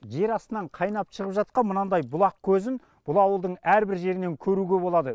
жер астынан қайнап шығып жатқан мынандай бұлақ көзін бұл ауылдың әр бір жерінен көруге болады